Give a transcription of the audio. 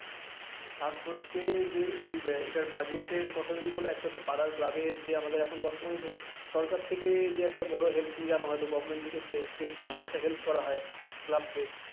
fast হচ্ছে যে এই যে এটার budget এর কথা যদি বলো একটা হচ্ছে পাড়ার club এর যে আমাদের এখন বর্তমান যে সরকার থেকে যে একটা বড় help তুমি জানো হয়তো government থেকে state থেকে একটা help করা হয় club কে,